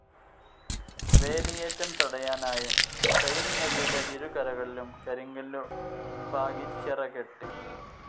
വേലിയേറ്റം തടയാനായും സീൻ നദിയുടെ ഇരുകരകളിലും കരിങ്കല്ലു പാകി ചിറകെട്ടി.